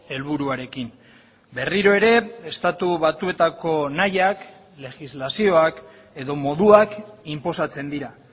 helburuarekin berriro ere estatu batuetako nahiak legislazioak edo moduak inposatzen dira